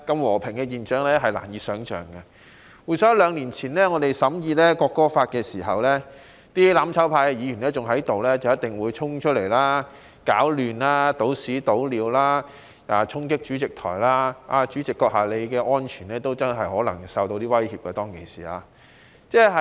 我們當時在審議《國歌條例草案》期間，仍身處議會的"攬炒派"議員必定會衝出來搗亂、傾倒穢物、衝擊主席台，代理主席你的人身安全，當時可能真的備受威脅。